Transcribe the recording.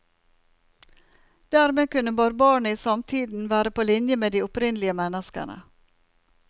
Dermed kunne barbarene i samtiden være på linje med de opprinnelige menneskene.